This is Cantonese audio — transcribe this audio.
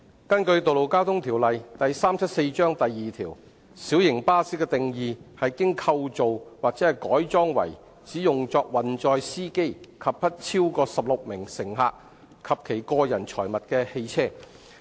根據《道路交通條例》第2條，"小型巴士"的定義是"經構造或改裝為只用作運載司機及不超過16名乘客及其個人財物的汽車"。